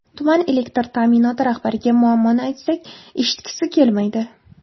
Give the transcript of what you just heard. Tuman elektr ta’minoti rahbariga muammoni aytsak, eshitgisi kelmaydi.